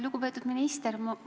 Lugupeetud minister!